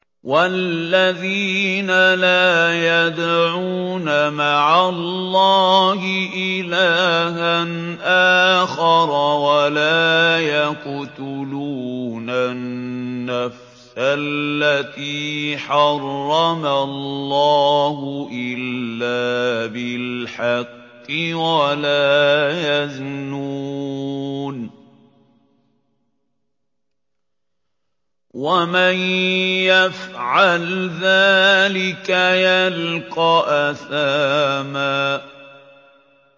وَالَّذِينَ لَا يَدْعُونَ مَعَ اللَّهِ إِلَٰهًا آخَرَ وَلَا يَقْتُلُونَ النَّفْسَ الَّتِي حَرَّمَ اللَّهُ إِلَّا بِالْحَقِّ وَلَا يَزْنُونَ ۚ وَمَن يَفْعَلْ ذَٰلِكَ يَلْقَ أَثَامًا